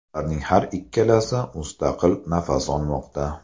Ularning har ikkalasi mustaqil nafas olmoqda.